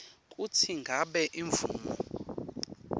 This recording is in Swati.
kutsi ngabe imvumo